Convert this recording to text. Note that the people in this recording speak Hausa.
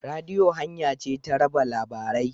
Rediyo hanya ce ta raba labarai.